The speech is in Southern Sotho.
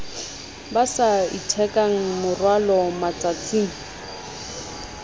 ba sa itheka morwalo matsatsing